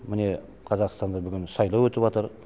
міне қазақстанда бүгін сайлау өтіпатыр